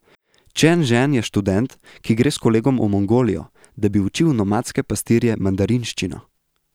Čen Žen je študent, ki gre s kolegom v Mongolijo, da bi učil nomadske pastirje mandarinščino.